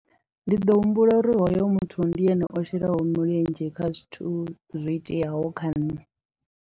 Ndi ḓo humbula uri hoyo muthu ndi ene o shelaho mulenzhe kha zwithu zwo iteaho kha nṋe.